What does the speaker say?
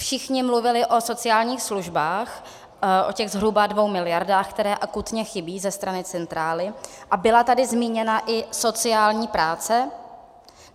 Všichni mluvili o sociálních službách, o těch zhruba dvou miliardách, které akutně chybí ze strany centrály, a byla tady zmíněna i sociální práce.